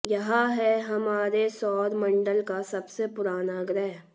यह है हमारे सौर मंडल का सबसे पुराना ग्रह